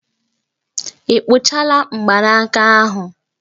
Ị kpụchala mgbanaka ahụ?